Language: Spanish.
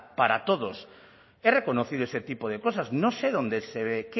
para todos he reconocido ese tipo de cosas no sé dónde se ve